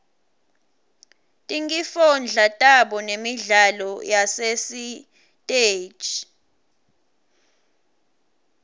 tinkifondla tabo nemidlalo yasesitej